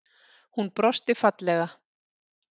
Hún brosti fallega.